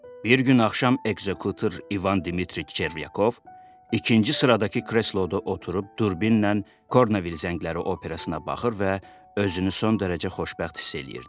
Bir gün axşam ekzekutiv İvan Dimitri Çervyakov ikinci sıradakı kresloda oturub durbinlə Kornavil zəngləri operasına baxır və özünü son dərəcə xoşbəxt hiss eləyirdi.